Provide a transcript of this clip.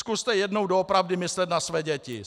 Zkuste jednou doopravdy myslet na své děti.